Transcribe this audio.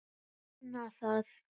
Opna það.